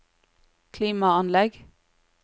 klimaanlegg